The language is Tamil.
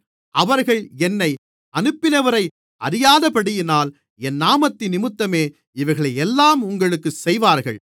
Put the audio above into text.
அவர்கள் என்னை அனுப்பினவரை அறியாதபடியினால் என் நாமத்தினிமித்தமே இவைகளையெல்லாம் உங்களுக்குச் செய்வார்கள்